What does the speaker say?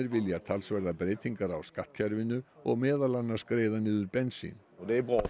vilja talsverðar breytingar á skattkerfinu og meðal annars greiða niður bensín